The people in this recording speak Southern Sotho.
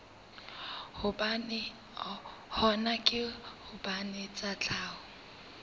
hona ke hobane tsa tlhaho